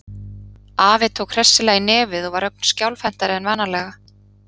Afi tók hressilega í nefið og var ögn skjálfhentari en vanalega.